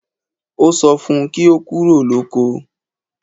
Ó sọ fun kí ó kúrò lóko